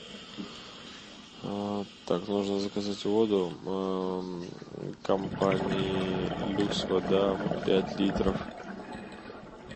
так нужно заказать воду компании люкс вода пять литров